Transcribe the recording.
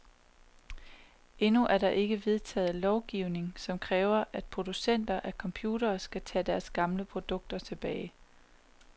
Endnu er der ikke vedtaget lovgivning, som kræver, at producenter af computere skal tage deres gamle produkter tilbage.